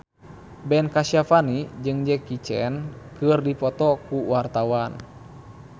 Ben Kasyafani jeung Jackie Chan keur dipoto ku wartawan